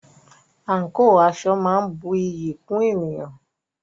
Àǹkò/aṣọ máa ń bu iyì kún ènìyàn.